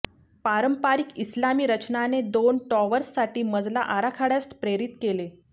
पारंपारिक इस्लामी रचनाने दोन टॉवर्ससाठी मजला आराखड्यास प्रेरित केले